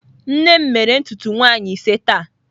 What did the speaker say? Nne m mere ntutu nwaanyi ise taa.